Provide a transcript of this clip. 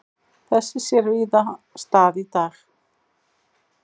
Þess sér víða stað í dag.